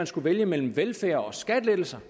skulle vælges mellem velfærd og skattelettelser